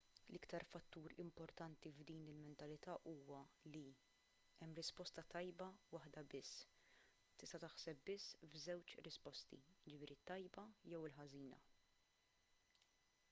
l-iktar fattur importanti f'din il-mentalità huwa li hemm risposta tajba waħda biss tista' taħseb biss f'żewġ risposti jiġifieri t-tajba jew il-ħażina